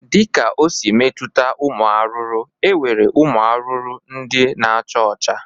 Dịka o si metuta ụmụ arụrụ, e nwere ụmụ arụrụ ndị na-acha ọcha